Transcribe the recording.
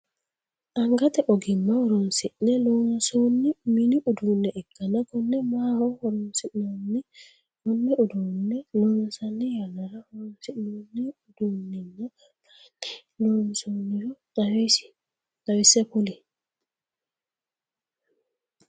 Angate ogimma horoonsi'ne loonsoonni minni uduune ikanna konne maaho horoonsi'nanni? Konne uduune loosanni yannara horoonsi'noonni uduunninna mayinni loonsoonniro xawise kuli?